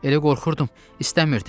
Elə qorxurdum, istəmirdim.